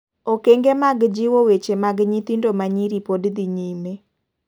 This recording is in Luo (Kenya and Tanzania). Okeng'e mag jiwo weche mag nyithindo manyiri pod dhi nyime.